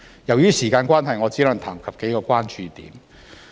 由於時間關係，我只能談及數個關注點。